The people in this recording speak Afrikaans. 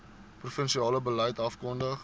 provinsiale beleid afgekondig